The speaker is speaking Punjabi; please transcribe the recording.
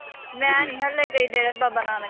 ਮੈਂ ਨੀਂ ਹਾਲੇ ਗਈ ਡੇਰਾ ਬਾਬਾ ਨਾਨਕ